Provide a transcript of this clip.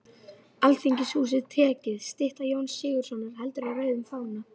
Alþingishúsið tekið, stytta Jóns Sigurðssonar heldur á rauðum fána